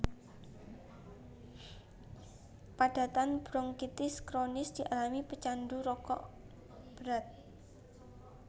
Padatan bronkitis kronis dialami pecandu rokok berat